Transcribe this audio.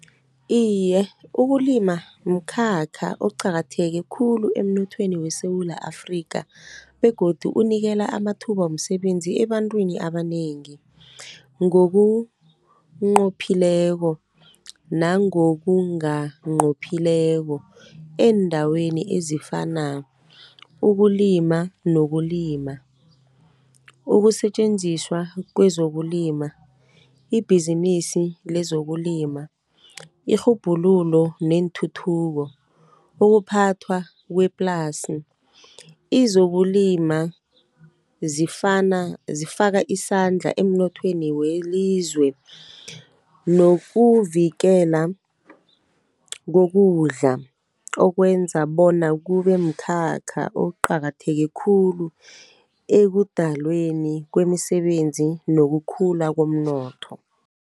Iye ukulima mkhakha oqakatheke khulu emnothweni weSewula Afrika, begodu unikela amathuba womsebenzi ebantwini abanengi. Ngokunqophileko nango kunganqophileko eendaweni ezifana, nokulima, ukusetjenziswa kwezokulima, ibhizinisi lezokulima, irhubhululo neenthuthuko, ukuphathwa kweplasi. Izokulima zifaka isandla emnothweni welizwe, nokuvikela kokudla okwenza bona kube mkhakha oqakatheke khulu ekudalweni kwemisebenzi nokukhula komnotho.